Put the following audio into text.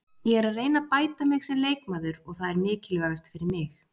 Ég er að reyna að bæta mig sem leikmaður og það er mikilvægast fyrir mig.